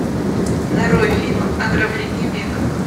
нарой фильм ограбление века